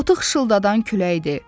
Otu xışıldadan küləkdir.